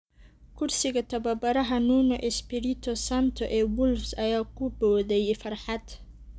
Kursiga tababaraha, Nuno Espirito Santo ee Wolves ayaa ku booday farxad.